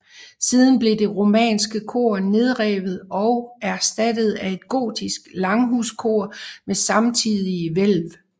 Siden blev det romanske kor nedrevet og erstattet af et gotisk langhuskor med samtidige hvælv